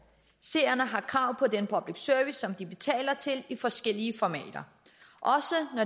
seerne har krav på den public service de betaler til i forskellige formater